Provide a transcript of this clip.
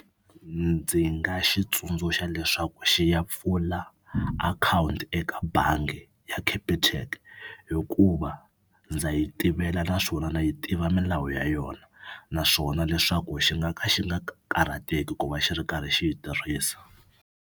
Ndzi nga xi tsundzuxa leswaku xi ya pfula akhawunti eka bangi ya Capitec hikuva ndza yi tivela na swona na yi tiva milawu ya yona naswona leswaku xi nga ka xi nga ka karhateki ku va xi ri karhi xi yi tirhisa.